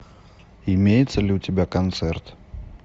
имеется ли у тебя концерт